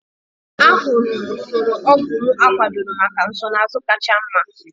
Ahụrụ m usoro ọgwụ m akwadoro maka nsonaazụ kacha mma.